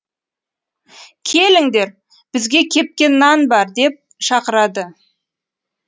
келіңдер бізге кепкен нан бар деп шақырады